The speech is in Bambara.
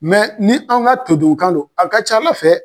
ni an ka toduunkan do a ka c'Ala fɛ.